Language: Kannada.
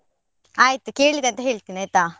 ಆಯ್ತು ಕೇಳಿದೆ ಅಂತ ಹೇಳ್ತೇನೆ ಆಯ್ತಾ.